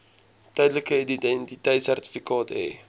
tydelike identiteitsertifikaat hê